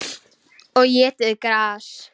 Og étið gras.